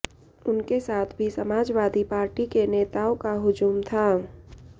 उनके साथ भी समाजवादी पार्टी के नेताओं का हुजूम था